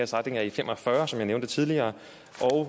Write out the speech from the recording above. strækning af e45 som jeg nævnte tidligere